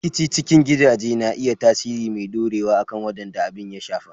Rikici cikin gidaje na iya tasiri mai ɗorewa akan waɗanda abin ya shafa.